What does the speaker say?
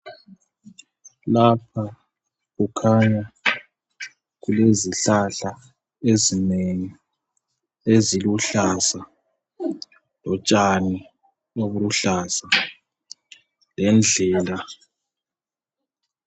Lapha kukhanya izihlahla ezinengi eziluhlaza lotshani obuluhlaza lendlela.